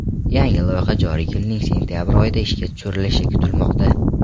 Yangi loyiha joriy yilning sentabr oyida ishga tushirilishi kutilmoqda.